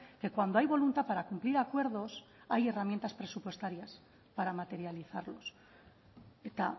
que cuando hay voluntad para cumplir acuerdos hay herramientas presupuestarias para materializarlos eta